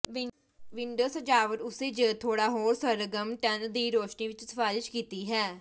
window ਸਜਾਵਟ ਉਸੇ ਜ ਥੋੜ੍ਹਾ ਹੋਰ ਸਰਗਰਮ ਟਨ ਦੀ ਰੋਸ਼ਨੀ ਵਿੱਚ ਸਿਫਾਰਸ਼ ਕੀਤੀ ਹੈ